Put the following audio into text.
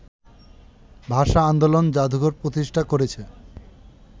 ভাষা-আন্দোলন জাদুঘর প্রতিষ্ঠা করেছে